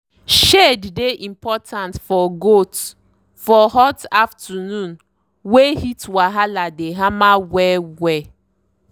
shade dey important for goats for hot afternoon wey heat wahala dey hammer well well.